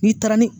N'i taara ni